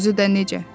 Özü də necə!